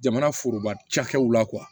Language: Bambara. Jamana foroba cakɛw la